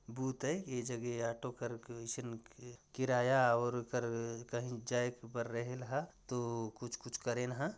Booth हैं के जगह आटोकर कइसन किराया और कर काहीच जाए बर रहेल ह तो कुछ कुछ करेन ह।